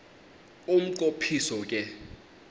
umnqo phiso ke